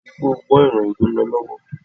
Rí wípé ó gbọ́ ìròyìn tó ń lọ lọ́wọ́!